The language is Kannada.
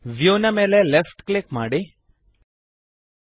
ವ್ಯೂ ನ ಮೇಲೆ ಲೆಫ್ಟ್ ಕ್ಲಿಕ್ ಮಾಡಿರಿ